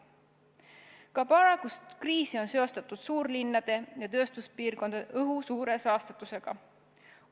Ka praegust kriisi on seostatud suurlinnade ja tööstuspiirkondade õhu suure saastatusega.